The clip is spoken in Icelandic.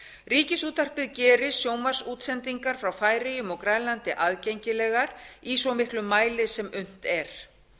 ríkisútvarpið gerir sjónvarpsútsendingar frá færeyjum og grænlandi aðgengilegar í svo miklum mæli sem unnt er